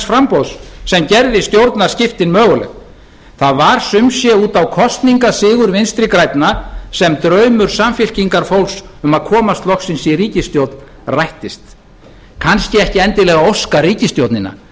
framboðs sem gerði stjórnarskiptin möguleg það var sum sé út á kosningasigur vinstri grænna sem draumur samfylkingarfólks um að komast loksins í ríkisstjórn rættist kannski ekki endilega óskaríkisstjórnina